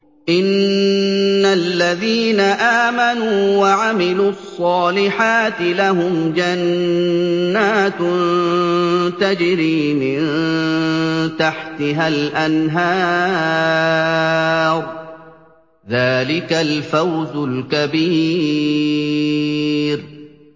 إِنَّ الَّذِينَ آمَنُوا وَعَمِلُوا الصَّالِحَاتِ لَهُمْ جَنَّاتٌ تَجْرِي مِن تَحْتِهَا الْأَنْهَارُ ۚ ذَٰلِكَ الْفَوْزُ الْكَبِيرُ